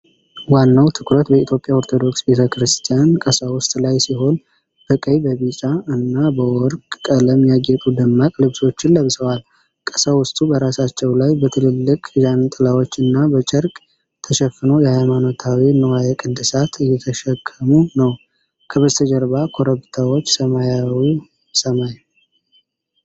ዋናው ትኩረት በኢትዮጵያ ኦርቶዶክስ ቤተ ክርስቲያን ቀሳውስት ላይ ሲሆን፣ በቀይ፣ በቢጫ እና በወርቅ ቀለም ያጌጡ ደማቅ ልብሶችን ለብሰዋል። ቀሳውስቱ በራሳቸው ላይ በትልልቅ ዣንጥላዎች እና በጨርቅ ተሸፍነው የሃይማኖታዊ ንዋየ ቅድሳት እየተሸከሙ ነው። ከበስተጀርባ ኮረብታዎች ሰማያዊው ሰማይ።